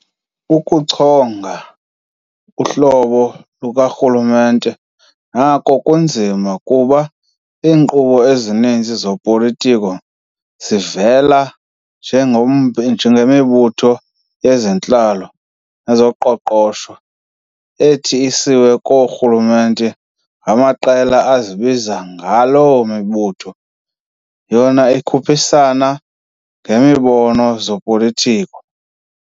Ukuchonga uhlobo lukarhulumente nako kunzima kuba iinkqubo ezininzi zopolitiko zivela njengom njengemibutho yezentlalo nezoqoqosho ethi isiwe koorhulumente ngamaqela azibiza ngaloo mibutho, yonke ikhuphisana ngeembono zopolitiko.